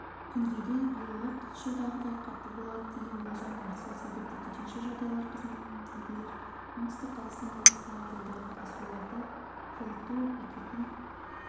күнгейде биылғы қыс жылдағыдан қатты болады деген болжам бар сол себепті төтенше жағдай қызметіндегілер оңтүстік қазақстан облысында жолдағы асуларда жылыту бекетін